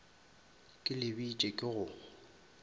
ke le bitše ke go